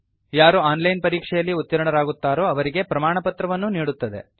ಯಾರು online ಪರೀಕ್ಷೆಯಲ್ಲಿ ಉತ್ತೀರ್ಣರಾಗುತ್ತಾರೋ ಅವರಿಗೆ ಪ್ರಮಾಣಪತ್ರವನ್ನೂ ನೀಡುತ್ತದೆ